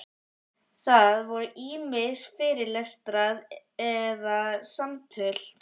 Það voru ýmist fyrirlestrar eða samtöl.